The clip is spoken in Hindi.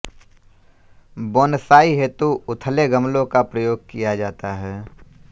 बोनसाई हेतु उथले गमलों का प्रयोग किया जाता है